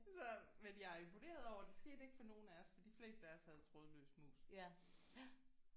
Så men jeg er imponeret over at det skete ikke for nogen af os for de fleste af os havde trådløs mus